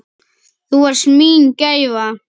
Þú varst mín gæfa.